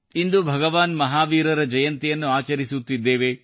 ಇಂದು ಭಗವಾನ್ ಮಹಾವೀರ ಜಯಂತಿಯನ್ನು ಆಚರಿಸುತ್ತಿದ್ದೇವೆ